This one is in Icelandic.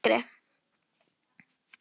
Þegar ég var yngri.